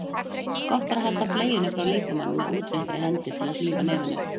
Gott er að halda bleiunni frá líkamanum með útréttri hendi til að hlífa nefinu.